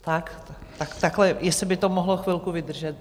Tak, tak takhle jestli by to mohlo chvilku vydržet.